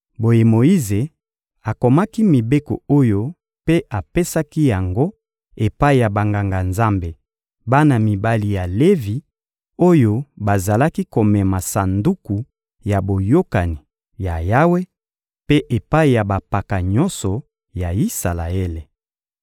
Boye Moyize akomaki mibeko oyo mpe apesaki yango epai ya Banganga-Nzambe, bana mibali ya Levi, oyo bazalaki komema Sanduku ya Boyokani ya Yawe, mpe epai ya bampaka nyonso ya Isalaele.